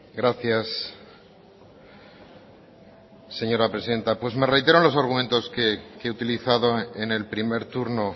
gracias señora presidenta pues me reitero en los argumentos que he utilizado en el primer turno